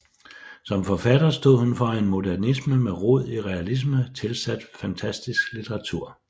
Som forfatter stod hun for en modernisme med rod i realisme tilsat fantastisk litteratur